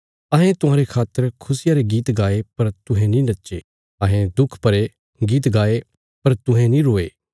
अहें तुहांरे खातर खुशिया रे गीत गाए पर तुहें नीं नच्चे अहें दुख भरे गीत गाये पर तुहें नीं रोये